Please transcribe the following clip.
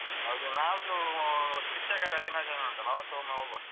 ಹೌದು ನಾಳ್ದು ಶಿಕ್ಷಕರ ದಿನಾಚರಣೆ ಉಂಟಲ್ಲ ಆವತ್ತೊಮ್ಮೆ ಹೋಗುವ.